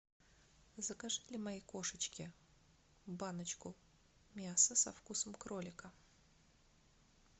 закажи для моей кошечки баночку мяса со вкусом кролика